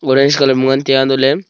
orange colour ngan tai a antoh ley--